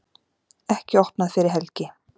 Ekki opnað fyrir helgi